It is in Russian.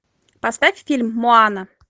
поставь фильм моана